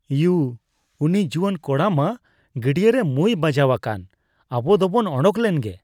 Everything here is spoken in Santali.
ᱤᱭᱩ ! ᱩᱱᱤ ᱡᱩᱣᱟᱹᱱ ᱠᱚᱲᱟ ᱢᱟ ᱜᱟᱰᱭᱟᱹᱨᱮ ᱢᱩᱸᱭ ᱵᱟᱡᱟᱣ ᱟᱠᱟᱱ ᱾ ᱟᱵᱚ ᱫᱚ ᱵᱚᱱ ᱚᱰᱚᱠ ᱞᱮᱱ ᱜᱮ ᱾